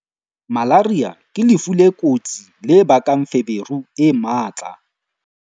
Malaria ke lefu le kotsi le bakang feberu e matla.